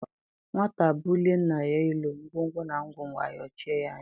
Nwata bulie nna ya elu, ngwongwo na ngwongwo a ayochie ya anya.